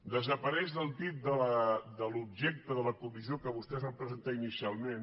desapareix de l’objecte de la comissió que vostès van presentar inicialment